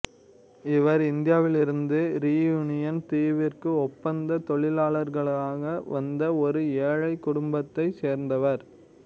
இவர் இந்தியாவிலிருந்து ரீயூனியன் தீவிற்கு ஒப்பந்த தொழிலாளர்களாக வந்த ஒரு ஏழைக் குடும்பத்தைச் சேர்ந்தவர்